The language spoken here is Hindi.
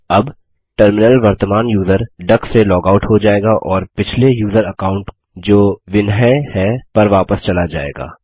अब टर्मिनल वर्तमान यूज़र डक से लॉग आउट हो जाएगा और पिछले यूज़र अकाउंट जो विन्हाई है पर वापस चला जाएगा